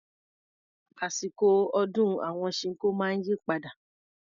Àsìkọ̀ ọdún àwọn Ṣinkó máa ń yí padà.